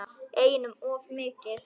Einum of mikið.